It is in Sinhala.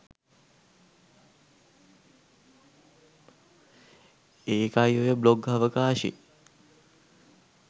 ඒකයි ඔය බ්ලොග් අවකාශෙ